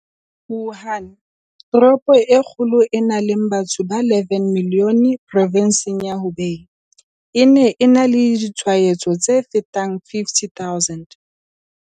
Wuhan, toropo e kgolo e nang le batho ba 11 milione provenseng ya Hubei, e ne e na le ditshwaetso tse fetang 50 000.